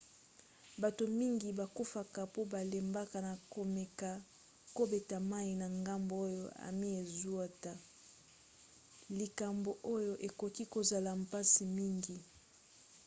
bato mingi bakufaka po balembaka na komeka kobeta mai na ngambo oyo ami ezouta likambo oyo ekoki kozala mpasi mingi